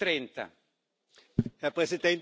Herr Präsident, meine Damen und Herren!